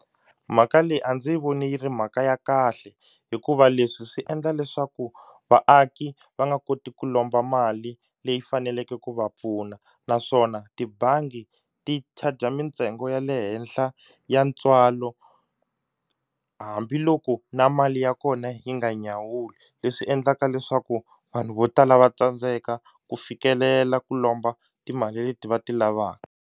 Mhaka leyi a ndzi yi voni yi ri mhaka ya kahle hikuva leswi swi endla leswaku vaaki va nga koti ku lomba mali leyi faneleke ku va pfuna naswona tibangi ti-charger mintsengo ya le le henhla ya ntswalo hambiloko na mali ya kona yi nga nyawuli leswi endlaka leswaku vanhu vo tala va tsandzeka ku fikelela ku lomba timali leti va ti lavaka.